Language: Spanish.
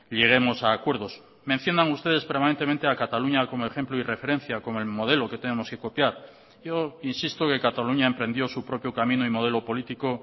lleguemos a acuerdos mencionan ustedes permanentemente a cataluña como ejemplo y referencia como el modelo que tenemos que copiar yo insisto que cataluña emprendió su propio camino y modelo político